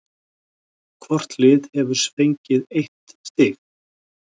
Hvort lið hefur fengið eitt stig